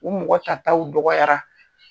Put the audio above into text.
U mɔgɔ ta taw dɔgɔyara.